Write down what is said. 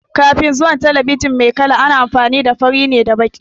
Kafin zuwan talabijin mai kala, ana amfani ne da fari da baƙi.